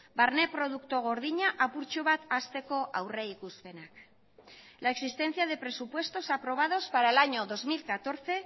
barne produktu gordina apurtxo bat hazteko aurrikuspenak la existencia de presupuestos aprobados para el año dos mil catorce